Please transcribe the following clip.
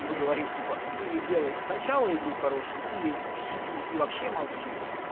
и мы говорим типа ты или делай сначала игру хорошую или сиди и вообще молчи